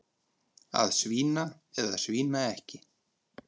Að svína eða svína ekki.